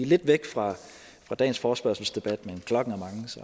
lidt væk fra dagens forespørgselsdebat men klokken